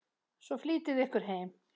Svo flýtiði ykkur heim.